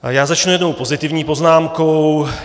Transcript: Já začnu jednou pozitivní poznámkou.